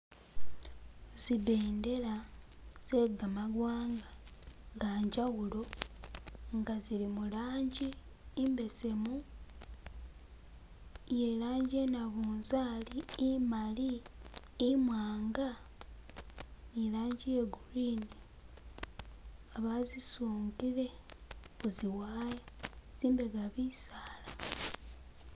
Zibendela zegamawanga nge njawulo nga zili murangi imbesemu, its irangi iye nabunzari, imali, imwanga , ne irangi iye green nga bazisungile kuzi wire, zimbega bisaala.